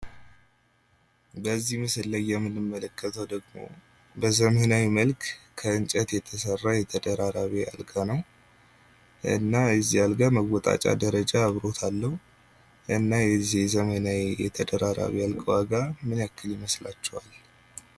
በዚህ ምስል ላይ የምንመለከተው ደግሞ በዘመናዊ መልክ ከእንጨት የተሰራ የተደራራቢ አልጋ ነው። እና የዚህ አልጋ መወጣጫ ደረጃ አብሮት አለው። እና የዚህ የተደራራቢ አልጋ ዋጋ ምን ያክል ይመስላችኋል ?